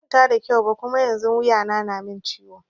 Ban kwanta da kyau ba Kuma yanzun wuya na na min ciwo.